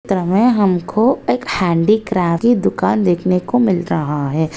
चित्र में हमको एक ह्यांडिक्राफ्ट की दुकान देखने को मिल रहा है।